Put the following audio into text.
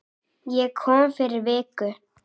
Ég kom fyrir viku